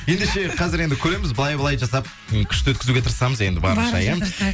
ендеше қазір енді көреміз былай былай жасап м күшті өткізуге тырысамыз енді барынша иә